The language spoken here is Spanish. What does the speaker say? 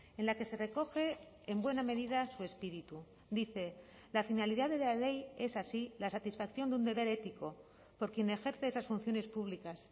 en la que se recoge en buena medida su espíritu dice la finalidad de la ley es así la satisfacción de un deber ético por quien ejerce esas funciones públicas